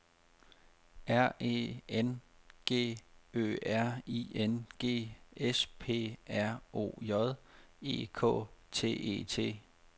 R E N G Ø R I N G S P R O J E K T E T